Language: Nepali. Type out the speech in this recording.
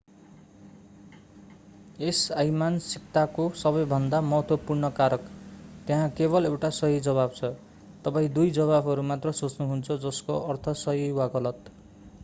यस अइमानसिकताको सबैभन्दा महत्त्वपूर्ण कारक त्यहाँ केबल एउटा सही जवाफ छ तपाईं दुई जवाफहरू मात्र सोच्नु हुन्छ जस्को अर्थ सही वा गलत